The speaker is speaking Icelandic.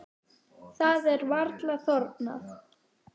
Það er varla þornað.